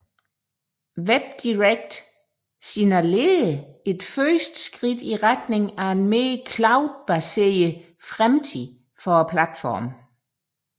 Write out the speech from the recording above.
WebDirect signallerer et første skift i retning af en mere cloud baseret fremtid for platformen